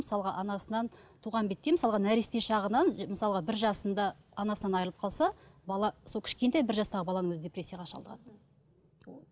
мысалға анасынан туған бетте мысалға нәресте шағынан мысалға бір жасында анасынан айрылып қалса бала сол кішкентай бір жастағы баланың өзі депрессияға шалдығады